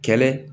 Kɛlɛ